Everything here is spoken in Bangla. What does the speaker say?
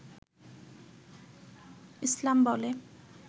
ইছলাম বলে